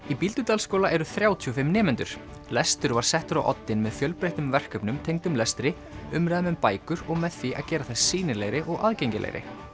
í Bíldudalsskóla eru þrjátíu og fimm nemendur lestur var settur á oddinn með fjölbreyttum verkefnum tengdum lestri umræðum um bækur og með því að gera þær sýnilegri og aðgengilegri